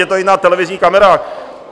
Je to i na televizních kamerách.